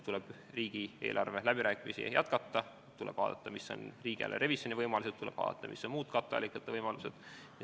Tuleb riigieelarve läbirääkimisi jätkata, tuleb vaadata, mis on riigieelarve revisjoni võimalused, tuleb vaadata, mis on muud katteallikate võimalused.